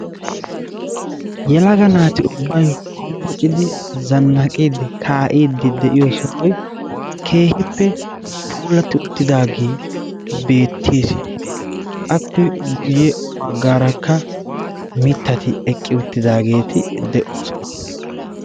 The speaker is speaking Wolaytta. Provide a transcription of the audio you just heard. Yelaga naati ubbayi hombbocidi zannaqidi kaa"iiddi de"iyo sohoyi keehippe puulatti uttidaagee beettes. Appe guyye baggaarakka mittati eqqi uttidaageeti de"oosona.